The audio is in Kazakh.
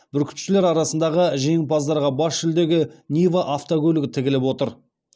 бүркітшілер арасындағы жеңімпаздарға бас жүлдеге нива автокөлігі тігіліп отыр